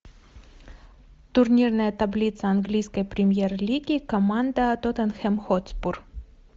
турнирная таблица английской премьер лиги команда тоттенхэм хотспур